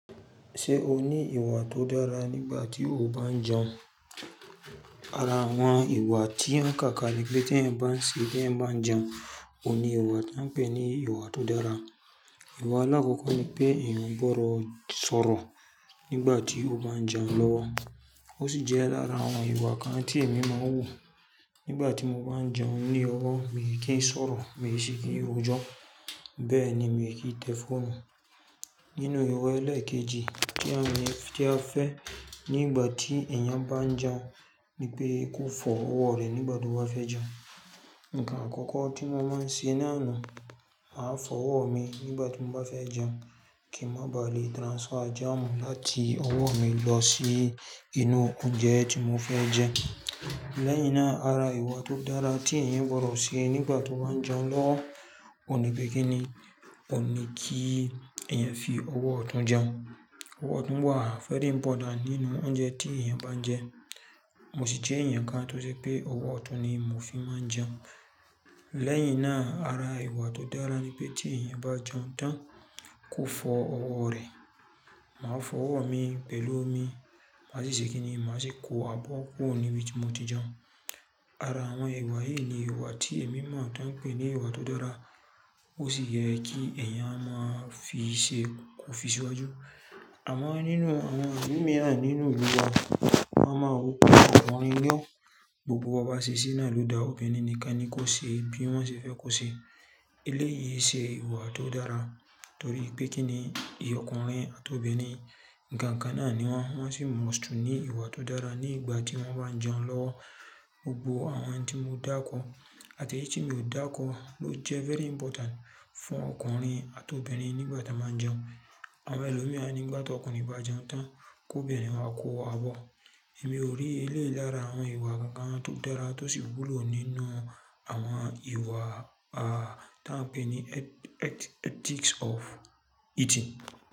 Ṣé o ní ìwà tó dára nígbà tí o bá ń jẹun? Ara àwọn ìwà tí a ń kàkà ni pé tí ẹ̀ ń bá ń ṣe, tí ẹ̀ ń bá ń jẹun, ò ní ìwà tí a ń pè ní ìwà tó dára. Ìwà àkọ́kọ́ ni pé èèyàn ò gbọdọ̀ sọ̀rọ̀ nígbà tí ó bá ń jẹun lọ́wọ́. Ó sì jẹ́ lára àwọn ìwà kan tí èmi máa ń wù. Nígbà tí mo bá ń jẹun ní ọwọ́, mi ò kí ń sọ̀rọ̀, mi ò ṣi kí ń ojó, bẹ́ẹ̀ ni mi ò kí ń tẹ fóònù. Nínú ìwà ẹlẹ́ẹ̀kejì tí a mọ̀, tí a fẹ́ nígbà tí ẹ̀yàn bá ń jẹun ni pé kó fọ ọwọ́ rẹ̀ nígbà tó bá fẹ́ jẹun. Ǹkan àkọ́kọ́ tí mo máa ń ṣe náà ni, màá fọ ọwọ́ mi nígbà tí mo bá fẹ́ jẹun kí ń má ba à lè transfer jam láti ọwọ́ mi lọ sí inú oúnjẹ tí mo fẹ́ jẹ. Lẹ́yìn náà, ara ìwà tó dára tí èèyàn gbọdọ̀ ṣe nígbà tó bá ń jẹun lọ́wọ́ ni pé kí ni, ò ní kí ẹ̀yàn fi ọwọ́ ọ̀tún jẹun. Ọwọ́ ọ̀tún wà fẹ́rẹ̀ important nínú oúnjẹ tí èèyàn bá ń jẹ. Mo sì jẹ́ ẹ̀yàn kan tó ṣe pé ọwọ́ ọ̀tún ni mò fi máa ń jẹun. Lẹ́yìn náà, ara ìwà tó dára ni pé tí èèyàn bá jẹun tán, kó fọ ọwọ́ rẹ̀. Màá fọ ọwọ́ mi, pẹ̀lú omi, màá sì ṣe kí ni, màá sì kó abọ́ kúrò ní ibi tí mo ti jẹun. Ara àwọn ìwà yìí ni ìwà tí èmi mọ̀ tán pè ní ìwà tó dára. Ó sì yẹ kí ẹ̀yàn máa fi ṣe kó fi síwájú. Àmọ́ nínú, àwọn míì náà nínú ìlú wa, wọ́n máa ń wù tó àwọn ń yọ́ Gbogbo ọba ṣèṣí náà ló dá Obìnrin nìkan ni kó ṣe bí wọ́n ṣe fẹ́ kó ṣe. Ilé yìí ṣe ìwà tó dára torí pé kí ni, ìyọ̀kùnrin àti obìnrin, ǹkan kan náà ni wọ́n. Wọ́n sì mọ̀ tó ní ìwà tó dára nígbà tí wọ́n bá ń jẹun lọ́wọ́. Gbogbo àwọn tí mo dákọ̀ àti èyí tí mi ò dá kọ́ ló jẹ́ very important fún ọkùnrin àti obìnrin nígbà tí wọ́n bá ń jẹun. Àwọn ẹlòmíràn nígbà tí ọkùnrin bá jẹun tán, kó obìnrin wá kó abọ́. Èmi ò rí ilé lára àwọn ìwà kankan tó dára tó sì wúlò nínú àwọn ìwà, à, tí a ń pè ní e-e-ethics of eating.